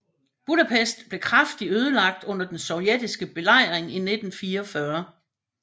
Budapest blev kraftigt ødelagt under den sovjetiske belejring i 1944